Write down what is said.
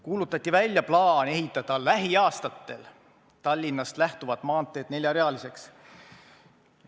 Kuulutati välja plaan ehitada lähiaastatel Tallinnast lähtuvad maanteed neljarealiseks.